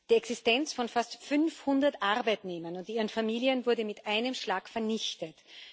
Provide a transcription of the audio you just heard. Die Existenz von fast 500 Arbeitnehmern und ihren Familien wurde mit einem Schlag vernichtet.